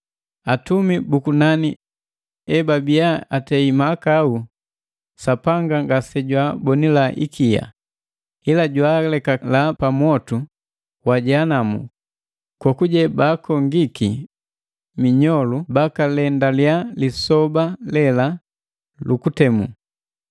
Atumi bu kunani ebabiya atei mahakau, Sapanga ngase jwaabonila ikia, ila jwaalekala pa mwotu wa Jehanamu kokuje baakongiki minyolu bakalendaliya lisoba lela lu kutemu.